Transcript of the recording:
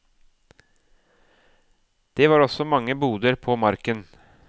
Det var også mange boder på marken.